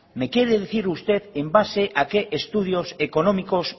me quiere decir usted en base a qué estudios económicos